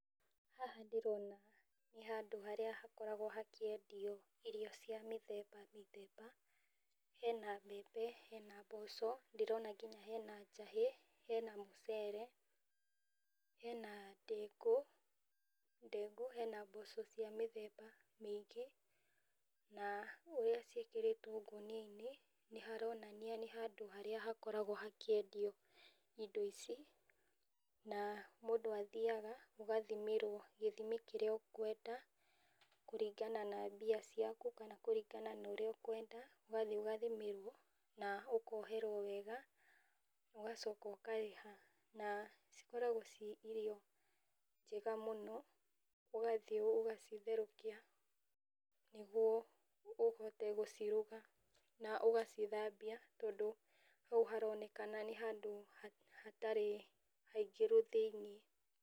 Haha ndĩrona nĩ handũ harĩa hakoragwo hakĩendio irio cia mĩthemba mĩthemba, hena mbembe, hena mboco, ndĩrona nginya hena njahĩ, hena mũcere, hena ndengũ, ndengũ, hena mboco cia mĩthemba mĩingĩ, na ũrĩa cĩikĩrĩtwo ngũnia-inĩ , nĩ haronania nĩ handũ harĩa hakoragwo hakĩendio indo ici, na mũndũ athiaga ũgathimirwo gĩthimi kĩrĩa ũkwenda kũringana na mbia ciaku, kana kũringana na ũrĩa ũkwenda, ũgathiĩ ũgathimĩrwo na ũkoherwo wega, ũgacoka ũkarĩha na cikoragwo ci irio njega mũno, ũgathiĩ ũgacitherũkia, nĩguo ũhote gũciruga, ũgacithambia tondũ hau haronekana nĩ handũ hatarĩ haingĩru thĩiniĩ.